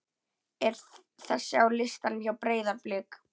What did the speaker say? er þessi á listanum hjá Breiðablik?